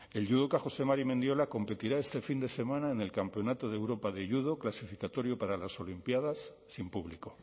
el judoca jose mari mendiola competirá este fin de semana en el campeonato de europa de judo clasificatorio para las olimpiadas sin público